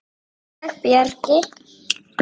Og er svo enn!